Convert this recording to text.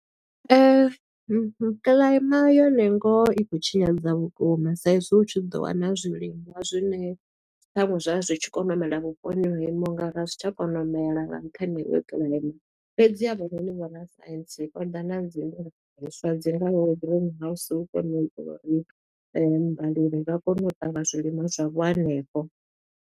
Kiḽaema yo ne ngoho i khou tshinyadza vhukuma, sa i zwo u tshi ḓo wana zwilimwa zwine, ṱhaṅwe zwa zwi tshi kona u mela vhuponi ho imaho nga ra, a zwi tsha kona u mela kha nṱhani ha iyo kiḽaema. Fhedzi avhanoni vho rascience vho ḓa na dzi swa, dzi ngaho green house, hu kone u itela uri ndi vhalimi vha kone u tavha zwilimwa zwavho hanefho.